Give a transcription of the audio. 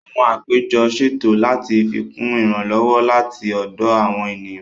Àwọn àpéjọ ṣètò láti fikún ìrànlọ́wọ́ láti ọ̀dọ̀ àwọn ènìyàn